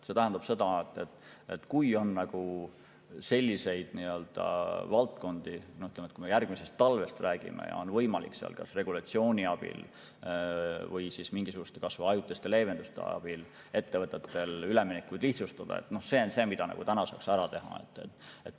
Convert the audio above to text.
Ütleme, kui me räägime järgmisest talvest ja on võimalik kas regulatsiooni abil või mingisuguste kas või ajutiste leevenduste abil ettevõtetel üleminekuid lihtsustada, siis see on asi, mida kohe saaks ära teha.